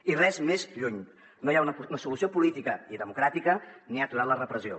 i res més lluny no hi ha una solució política i democràtica ni ha aturat la repressió